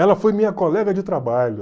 Ela foi minha colega de trabalho.